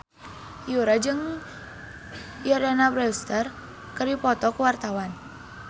Yura jeung Jordana Brewster keur dipoto ku wartawan